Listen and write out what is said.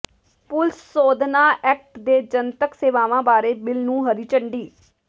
police ਸੋਧਨਾ act ਤੇ ਜਨਤਕ ਸੇਵਾਵਾਂ ਬਾਰੇ ਬਿੱਲ ਨੂੰ ਹਰੀ ਝੰਡੀ